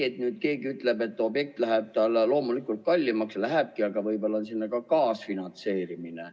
Kui nüüd keegi ütleb, et objekt läheb loomulikult kallimaks, siis lähebki, aga võib-olla on seal ka kaasfinantseerimine.